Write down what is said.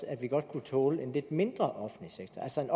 at vi godt kunne tåle en lidt mindre offentlig sektor altså en